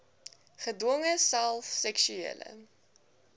gedwonge self seksuele